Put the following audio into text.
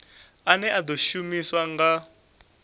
ane a ḓo shumiswa nga